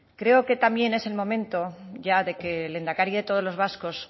creo que también es el momento ya de que el lehendakari de todos los vascos